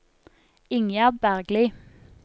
Ingjerd Bergli